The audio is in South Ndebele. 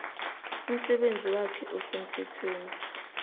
umsebenzi wakhe osemthethweni